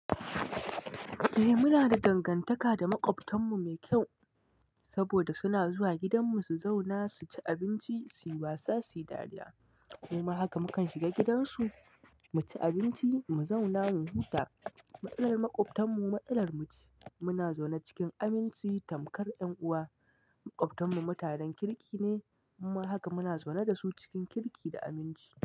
Eh muna da dangantaka da maƙwabtanmu mai kyau, saboda suna zuwa gidanmu su zauna, su ci abinci, su yi wasa, su yi dariya. Muma haka mu kan shiga gidansu, mu ci abinci, mu zauna, mu huta. Matsalar maƙwabtanmu matsalar mu ce. Muna zaune cikin aminci tamkar ƴan uwa. Maƙwabtanmu mutanen kirki ne, muma haka muna zaune da su cikin kirki da aminci.